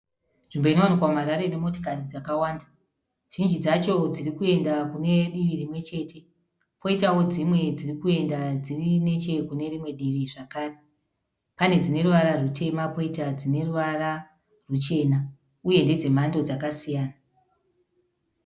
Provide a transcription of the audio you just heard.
Nzvimbo inowanikwa mu Harare, Ine motokari dzakawanda. Zhinji dzacho dzirikuyenda kune divi rimwe chete. Koitawo dzimwe dzirikuyenda dziri ne che kune rimwe divi zvekare . Pane dzine ruvara rutema koita dzine ruvara ruchena uye ndedzemhando dzakasiyana.